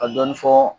Ka dɔɔnin fɔ